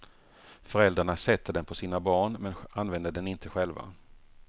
Föräldrarna sätter den på sina barn, men använder den inte själva.